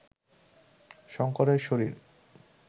শঙ্করের শরীর